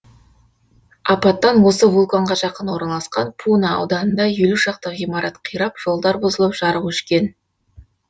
апаттан осы вулканға жақын орналасқан пуна ауданында елу шақты ғимарат қирап жолдар бұзылып жарық өшкен